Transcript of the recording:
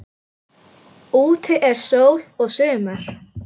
Úti er sól og sumar.